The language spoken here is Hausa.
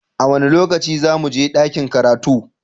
A wane lokaci za mu je dakin karatu?